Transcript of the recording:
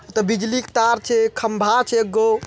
त बिजली क तार छै खम्बा छै एगो --